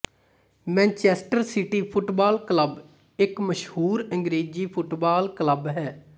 Manchester City football club ਇੱਕ ਮਸ਼ਹੂਰ ਅੰਗਰੇਜ਼ੀ ਫੁੱਟਬਾਲ ਕਲੱਬ ਹੈ